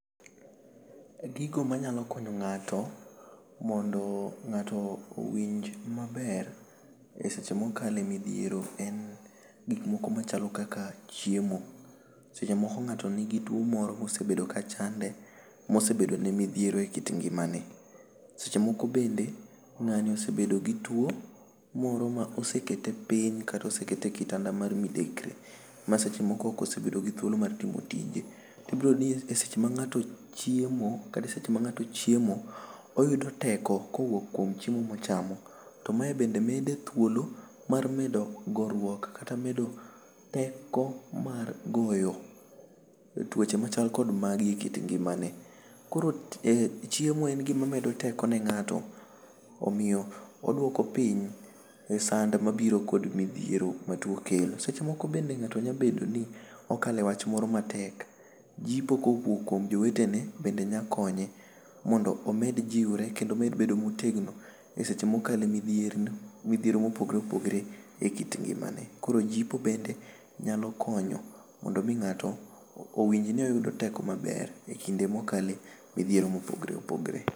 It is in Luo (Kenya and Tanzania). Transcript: Gigo ma nyalo konyo ngato mondo ngato owinj ma ber e seche ma o kale midhiero en gik moko ma chalo kaka chiemo seche moko ngato ni gi tuo moro ma osebedo ka chande ma osebedo ne mi dhiero e kit ngima ne seche moko bende ngani osebedo gi tuo moro ma osekete piny kata osekete e kitanda mar midekre ma seche moko oko sebedo gi thuolo ma timo tije to i biro yudo ni seche ma ngato chiemo o yudo teko kuom chiemo ma ochamo to mae bende mede thuolo mar medo goruok kata teko mar goyo tuoche ma chal kod magi e kit ngima ne koro chiemo en gi ma medo teko ne ngato o miyo odwoko piny sand ma biro kod mi dhiero ma tuo kelo seche moko bende ngato nyalo bedo ni o kale wach moro matek jipo ko wuok kuom jowetene nyalo konye mondo obed jiwore kendo mondo med bedo motegno seche ma okalo e midhiero ma opogore opogore e kit ngima ne koro jipo nyalo konyo mondo mi ngato o winj ni oyudo teko maber e kinde ma o kale midhiero ma opogore opogore.